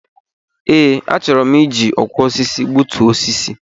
Ee, a chọrọ m iji osisi gbutu osisi.